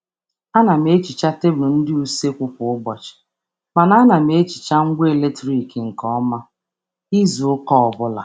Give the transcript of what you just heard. A na m asacha tebụl ụlọ nri kwa ụbọchị, ma na-emecha ngwa oriri n’ike n’ n’ izu obula